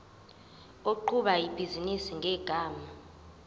oqhuba ibhizinisi ngegama